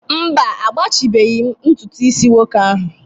mba, agbachibeghị m ntutu isi nwoke ahụ